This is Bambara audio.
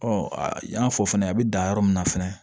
Ɔ i y'a fɔ fɛnɛ a bɛ dan yɔrɔ min na fɛnɛ